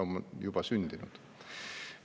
On juba sündinud.